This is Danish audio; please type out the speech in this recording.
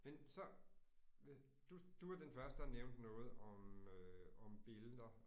Men så du du var den første der nævnte noget om øh om billeder